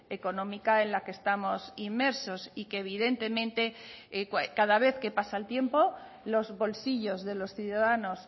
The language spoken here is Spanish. económica en la que estamos inmersos y que evidentemente cada vez que pasa el tiempo los bolsillos de los ciudadanos